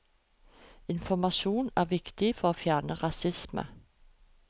Informasjon er viktig for å fjerne rasisme.